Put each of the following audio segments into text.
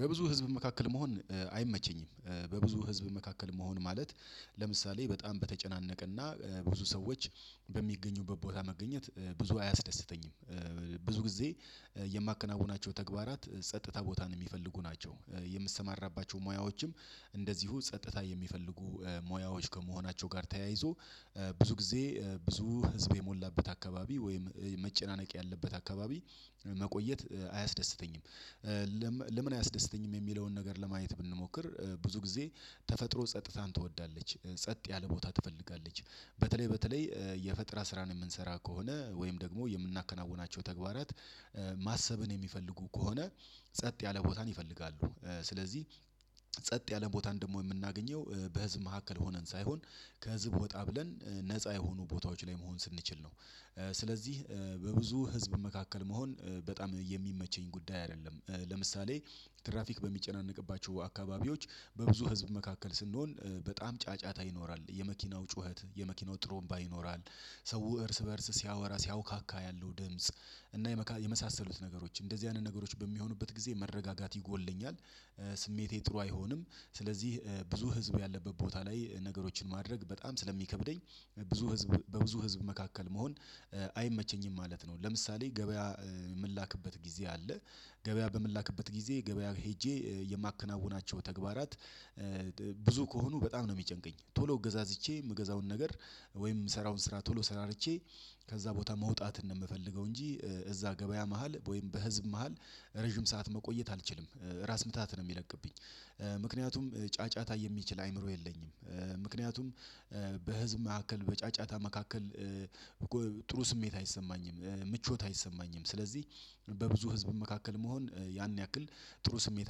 በብዙ ህዝብ መካከል መሆን አይመቸኝም። በብዙ ህዝብ መካከል መሆን ማለት ለምሳሌ በጣም በተጨናነቀና ብዙ ሰዎች በሚገኙበት ቦታ መገኘት ብዙ አያስደስተኝም። ብዙ ጊዜ የማከናውናቸው ተግባራት ጸጥታ ቦታን የሚፈልጉ ናቸው። የምሰማራባቸው ሙያዎችም እንደዚሁ ጸጥታ የሚፈልጉ ሙያዎች ከመሆናቸው ጋር ተያይዞ ብዙ ጊዜ ብዙ ህዝብ የሞላበት አካባቢ ወይም መጨናነቅ ያለበት አካባቢ መቆየት አያስደስተኝም። ለምን አያስደስተኝም የሚለውን ነገር ለማየት ብንሞክር ብዙ ጊዜ ተፈጥሮ ጸጥታን ትወዳለች ጸጥ ያለ ቦታ ትፈልጋለች። በተለይ በተለይ የፈጠራ ስራን የምንሰራ ከሆነ ወይም ደግሞ የምናከናውናቸው ተግባራት ማሰበን የሚፈልጉ ከሆነ ጸጥ ያለ ቦታን ይፈልጋሉ። ስለዚህ ጸጥ ያለ ቦታን ደግሞ የምናገኘው በህዝብ መካከል ሆነን ሳይሆን ከህዝብ ወጣ ብለን ነፃ የሆኑ ቦታዎች ላይ መሆን ስንችል ነው። ስለዚህ በብዙ ህዝብ መካከል መሆን በጣም የሚመቸኝ ጉዳይ አይደለም። ለምሳሌ ትራፊክ በሚጨናነቅባቸው አካባቢዎች በብዙ ህዝብ መካከል ስንሆን በጣም ጫጫታ ይኖራል የመኪናው ጩኸት የመኪናው ጥሩምባ ይኖራል። ሰው እርስ በእርስ ሲያወራ ሲያውካካ ያለው ድምጽ እና የመሳሰሉት ነገሮች እንደዚህ አይነት ነገሮች በሚሆኑበት ጊዜ መረጋጋት ይጎድለኛል ስሜቴ ጥሩ አይሆንም። ስለዚህ ብዙ ህዝብ ያለበት ቦታ ላይ ነገሮችን ማድረግ በጣም ስለሚከብደኝ ብዙ ህዝብ በብዙ ህዝብ መካከል መሆን። አይመቸኝም ማለት ነው። ለምሳሌ ገበያ የምላክበት ጊዜ አለ። ገበያ በምላክበት ጊዜ ገበያ ሄጄ የማከናውናቸው ተግባራት ብዙ ከሆኑ በጣም ነው የሚጨንቀኝ ቶሎ ገዛዚቼ የምገዛውን ነገር። ወይም የምሰራውን ስራ ቶሎ ሰራርቼ ከዛ ቦታ መውጣት ነው የምፈልገው። እንጂ እዛ ገበያ መሃል ወይም በህዝብ መሃል ረጅም ሰዓት መቆየት አልችልም። ራስ ምታት ነው የሚለቅብኝ። ምክንያቱም ጫጫታ የሚችል አይምሮ የለኝም። ምክንያቱም በህዝብ መካከል በጫጫታ መካከል ጥሩ ስሜት አይሰማኝም። ምቾት አይሰማኝም ስለዚህ በብዙ ህዝብ መካከል መሆን ያን ያክል ጥሩ ስሜት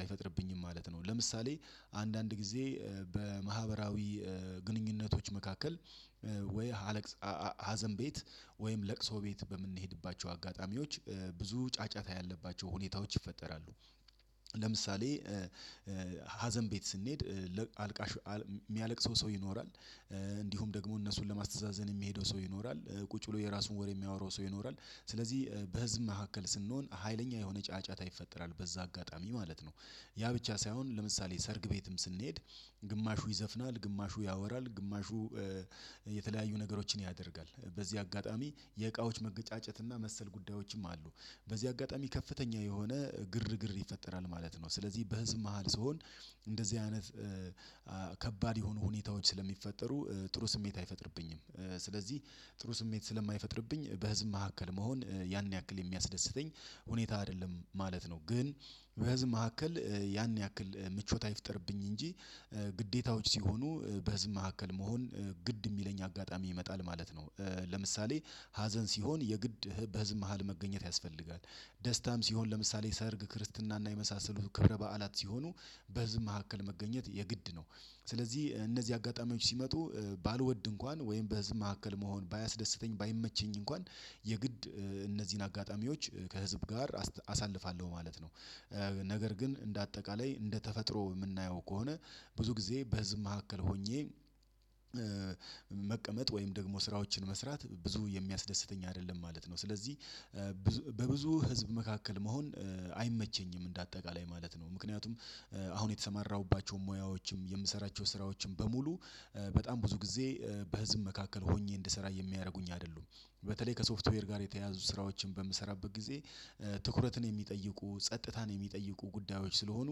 አይፈጥርብኝም ማለት ነው። ለምሳሌ አንዳንድ ጊዜ በማህበራዊ ግንኙነቶች መካከል ወይ ሀዘን ቤት ወይም ለቅሶ ቤት በምንሄድባቸው አጋጣሚዎች ብዙ ጫጫታ ያለባቸው ሁኔታዎች ይፈጠራሉ። ለምሳሌ ሀዘን ቤት ስንሄድ ለአልቃሽ የሚያለቅሰው ሰው ይኖራል። እንዲሁም ደግሞ እነሱን ለማስተዛዘን የሚሄደው ሰው ይኖራል ቁጭ ብሎ የራሱን ወሬ የሚያወራው ሰው ይኖራል ስለዚህ በህዝብ መሀከል ስንሆን ሀይለኛ የሆነ ጫጫታ ይፈጠራል በዛ አጋጣሚ ማለት ነው። ያ ብቻ ሳይሆን ለምሳሌ ሰርግ ቤትም ስንሄድ ግማሹ ይዘፍናል ግማሹ ያወራል ግማሹ የተለያዩ ነገሮችን ያደርጋል በዚህ አጋጣሚ የእቃዎች መገጫጨት እና መሰል ጉዳዮችም አሉ። በዚህ አጋጣሚ ከፍተኛ የሆነ ግርግር ይፈጠራል ማለት ነው። ስለዚህ በህዝብ መሃል ስሆን እንደዚህ አይነት ከባድ የሆኑ ሁኔታዎች ስለሚፈጠሩ ጥሩ ስሜት አይፈጥርብኝም። ስለዚህ ጥሩ ስሜት ስለማይፈጥርብኝ በህዝብ መካከል መሆን ያን ያክል የሚያስደስተኝ ሁኔታ አይደለም ማለት ነው። ግን በህዝብ መካከል ያን ያክል ምቾት አይፍጠርብኝ እንጂ ግዴታዎች ሲሆኑ በህዝብ መካከል መሆን ግድ የሚለኝ አጋጣሚ ይመጣል ማለት ነው። ለምሳሌ ሀዘን ሲሆን የግድ በህዝብ መሃል መገኘት ያስፈልጋል። ደስታም ሲሆን ለምሳሌ ሰርግ ክርስትናና የመሳሰሉ ክብረ በዓላት ሲሆኑ በህዝብ መካከል መገኘት የግድ ነው። ስለዚህ እነዚህ አጋጣሚዎች ሲመጡ ባልወድ እንኳን ወይም በህዝብ መካከል መሆን ባያስደስተኝ ባይመቸኝ እንኳን የግድ እነዚህን አጋጣሚዎች ከህዝብ ጋር አሳልፋለሁ ማለት ነው። ነገር ግን እንደ አጠቃላይ እንደ ተፈጥሮ የምናየው ከሆነ ብዙ ጊዜ በህዝብ መካከል ሆኜ መቀመጥ ወይም ደግሞ ስራዎችን መስራት ብዙ የሚያስደስተኝ አይደለም ማለት ነው። ስለዚህ በብዙ ህዝብ መካከል መሆን አይመቸኝም እንደ አጠቃላይ ማለት ነው። ምክንያቱም አሁን የተሰማራሁባቸውን ሙያዎችም የምሰራቸውን ስራዎችን በሙሉ በጣም ብዙ ጊዜ በህዝብ መካከል ሆኜ እንድሰራ የሚያደርጉኝ አይደሉም። በተለይ ከሶፍትዌር ጋር የተያዙ ስራዎችን በምሰራበት ጊዜ ትኩረትን የሚጠይቁ ጸጥታን የሚጠይቁ ጉዳዮች ስለሆኑ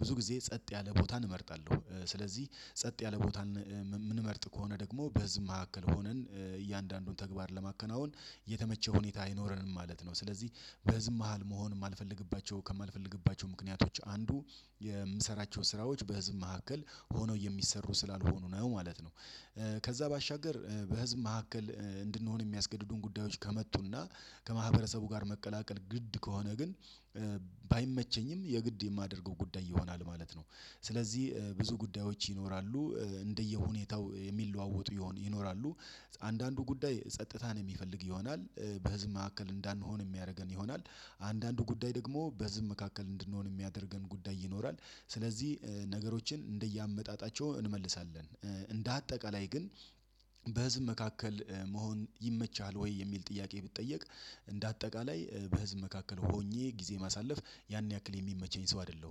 ብዙ ጊዜ ጸጥ ያለ ቦታ እንመርጣለሁ። ስለዚህ ጸጥ ያለ ቦታ የምንመርጥ ከሆነ ደግሞ በዚህ መካከል ሆነን እያንዳንዱን ተግባር ለማከናወን የተመቸ ሁኔታ አይኖረንም ማለት ነው። ስለዚህ በህዝብ መሃል መሆን የማልፈልግባቸው ከማልፈልግባቸው ምክንያቶች አንዱ የምሰራቸው ስራዎች በህዝብ መካከል ሆነው የሚሰሩ ስላልሆኑ ነው ማለት ነው። ከዛ ባሻገር በህዝብ መካከል እንድንሆን የሚያስገድዱን ጉዳዮች ከመጡና ከማህበረሰቡ ጋር መቀላቀል ግድ ከሆነ ግን ባይመቸኝም የግድ የማደርገው ጉዳይ ይሆናል ማለት ነው። ስለዚህ ብዙ ጉዳዮች ይኖራሉ። እንደየሁኔታው የሚለዋወጡ ይሆን ይኖራሉ። አንዳንዱ ጉዳይ ጸጥታን የሚፈልግ ይሆናል። በህዝብ ማዕከል እንዳንሆን የሚያደርገን ይሆናል። አንዳንዱ ጉዳይ ደግሞ በህዝብ መካከል እንድንሆን የሚያደርገን ጉዳይ ይኖራል ስለዚህ ነገሮችን እንደየአመጣጣቸው እንመልሳለን። እንደ አጠቃላይ ግን በህዝብ መካከል መሆን ይመቸሀል ወይ የሚል ጥያቄ ብጠየቅ? እንደ አጠቃላይ በህዝብ መካከል ሆኜ ጊዜ ማሳለፍ ያን ያክል የሚመቸኝ ሰው አይደለሁም